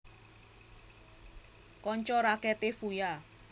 Kanca raketé Fuya